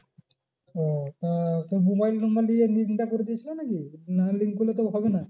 ও তা তোর mobile number নিয়ে link টা করে দিয়েছিলো নাকি? না link করলে তো হবে না।